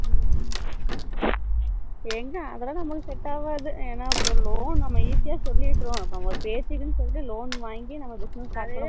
ஹம் எங்க அதுலாம் நம்மளுக்கு set ஆகாது என்னா loan நம்ம easy ஆ நம்ம சொல்லிறோம் நம்ம பேசிட்டோம் சொல்லிட்டு நம்ம loan வாங்கி நம்ம business start